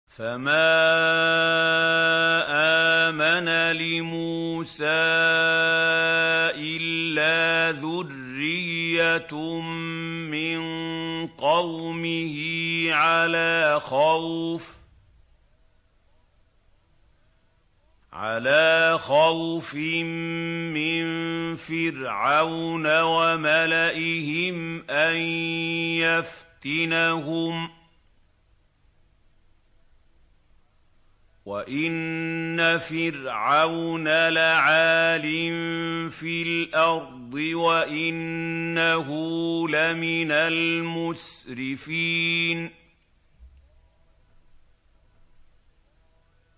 فَمَا آمَنَ لِمُوسَىٰ إِلَّا ذُرِّيَّةٌ مِّن قَوْمِهِ عَلَىٰ خَوْفٍ مِّن فِرْعَوْنَ وَمَلَئِهِمْ أَن يَفْتِنَهُمْ ۚ وَإِنَّ فِرْعَوْنَ لَعَالٍ فِي الْأَرْضِ وَإِنَّهُ لَمِنَ الْمُسْرِفِينَ